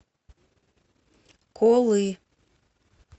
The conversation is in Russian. колы